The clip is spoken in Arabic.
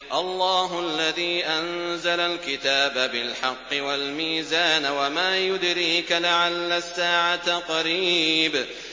اللَّهُ الَّذِي أَنزَلَ الْكِتَابَ بِالْحَقِّ وَالْمِيزَانَ ۗ وَمَا يُدْرِيكَ لَعَلَّ السَّاعَةَ قَرِيبٌ